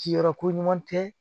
Ci yɔrɔ ko ɲuman tɛ